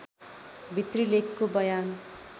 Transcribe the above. भित्री लेखको बयान